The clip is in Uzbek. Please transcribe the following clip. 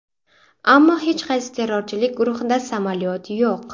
Ammo hech qaysi terrorchilik guruhida samolyot yo‘q.